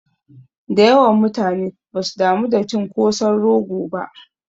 Dayawan mutane basu damu da cin kosan rogo ba